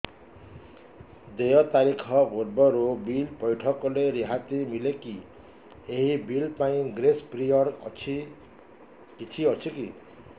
ଦେୟ ତାରିଖ ପୂର୍ବରୁ ବିଲ୍ ପୈଠ କଲେ ରିହାତି ମିଲେକି ଏହି ବିଲ୍ ପାଇଁ ଗ୍ରେସ୍ ପିରିୟଡ଼ କିଛି ଅଛିକି